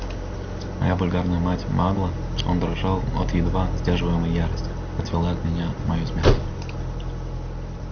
моя вульгарная мать-магла он дрожал от едва сдерживаемой ярости отвела от меня мою смерть